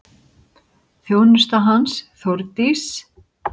Þjónusta hans, Þórdís